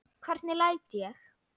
Hvernig læt ég!